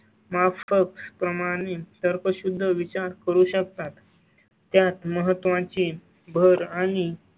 मा फक प्रमाणे तर्कशुद्ध विचार करू शकतात. त्यात महत्त्वाची भर आणि.